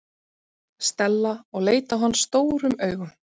Stella og leit á hann stórum augum.